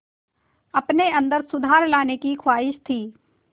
अपने अंदर सुधार लाने की ख़्वाहिश थी